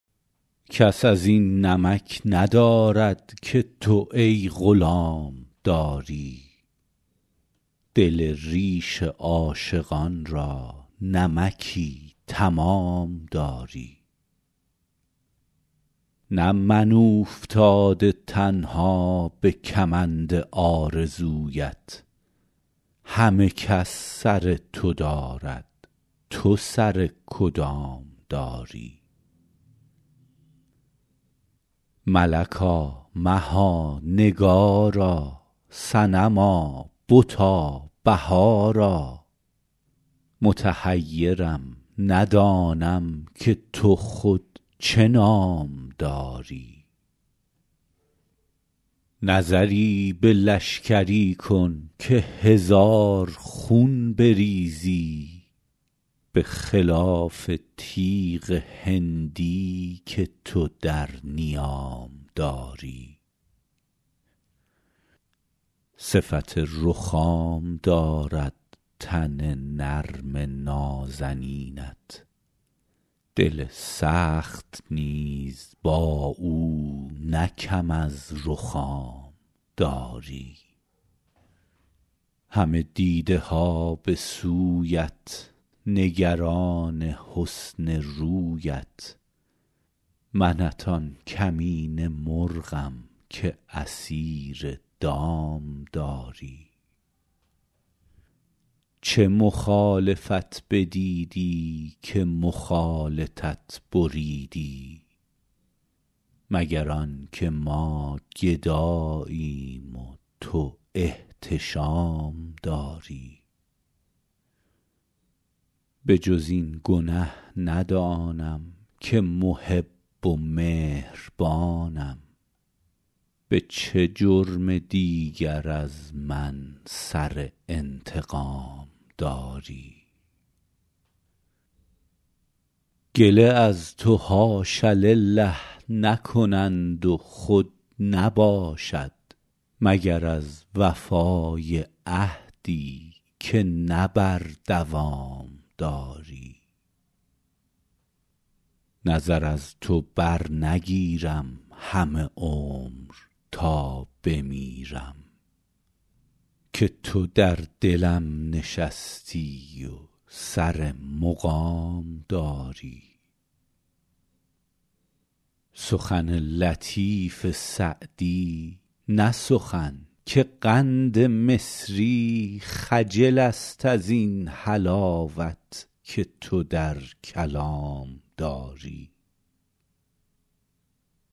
کس از این نمک ندارد که تو ای غلام داری دل ریش عاشقان را نمکی تمام داری نه من اوفتاده تنها به کمند آرزویت همه کس سر تو دارد تو سر کدام داری ملکا مها نگارا صنما بتا بهارا متحیرم ندانم که تو خود چه نام داری نظری به لشکری کن که هزار خون بریزی به خلاف تیغ هندی که تو در نیام داری صفت رخام دارد تن نرم نازنینت دل سخت نیز با او نه کم از رخام داری همه دیده ها به سویت نگران حسن رویت منت آن کمینه مرغم که اسیر دام داری چه مخالفت بدیدی که مخالطت بریدی مگر آن که ما گداییم و تو احتشام داری به جز این گنه ندانم که محب و مهربانم به چه جرم دیگر از من سر انتقام داری گله از تو حاش لله نکنند و خود نباشد مگر از وفای عهدی که نه بر دوام داری نظر از تو برنگیرم همه عمر تا بمیرم که تو در دلم نشستی و سر مقام داری سخن لطیف سعدی نه سخن که قند مصری خجل است از این حلاوت که تو در کلام داری